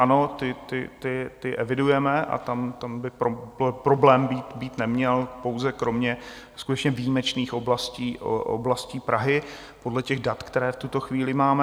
Ano, ty evidujeme a tam by problém být neměl pouze kromě skutečně výjimečných oblastí Prahy podle těch dat, která v tuto chvíli máme.